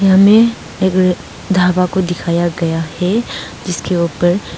में एक ढाबा को दिखाया गया है जिसके ऊपर--